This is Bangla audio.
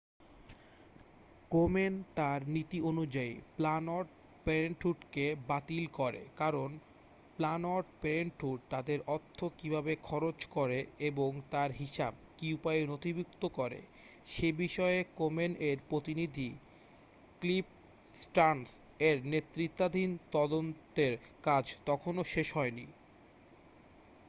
কোমেন তার নীতি অনুযায়ী প্ল্যানড পেরেন্টহুডকে বাতিল করে কারণ প্ল্যানড পেরেন্টহুড তাদের অর্থ কীভাবে খরচ করে এবং তার হিসাব কী উপায়ে নথিভূক্ত করে সেবিষয়ে কোমেন-এর প্রতিনিধি ক্লিফ স্টার্ন্স-এর নেতৃত্বাধীন তদন্তের কাজ তখনও শেষ হয়নি